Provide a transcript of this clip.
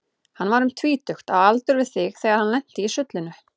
Hann var um tvítugt, á aldur við þig, þegar hann lenti í sullinu.